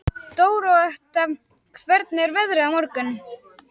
Dórótea, hvernig er veðrið á morgun?